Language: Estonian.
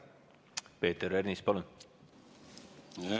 Peeter Ernits, palun!